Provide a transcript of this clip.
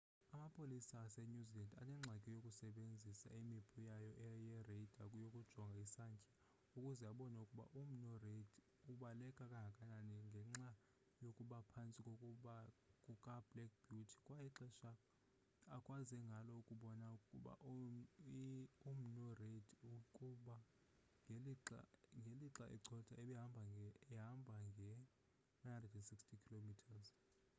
amapolisa asenew zealand anengxaki yokusebenzisa imipu yayo ye-radar yokujonga isantya ukuze abone ukuba umnu reid ubaleka kangakanani ngenxa yokuba phantsi kukablack beauty kwaye ixesha akwaze ngalo ukubona ukuba umnu reid kube ngelixa ecotha ehamba nge-160km/h